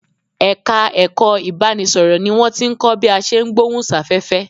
Ẹ̀ka ẹ̀kọ́ ìbárá-ẹni-sọ̀rọ̀ ni wọ́n tí ń kọ́ bí a ṣe ń gbohùn sáfẹ́fẹ́